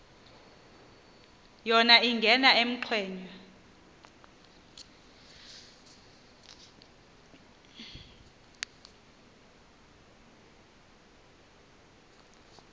yona ingena ekhwenxua